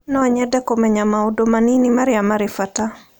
No nyende kũmenya maũndũ manini marĩa marĩ bata.